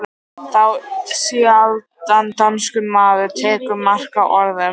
Þá sjaldan danskur maður tekur mark á orðum